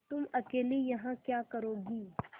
तुम अकेली यहाँ क्या करोगी